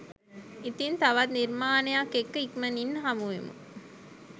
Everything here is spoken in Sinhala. ඉතින් තවත් නිර්මාණයක් එක්ක ඉක්මනින්ම හමුවෙමු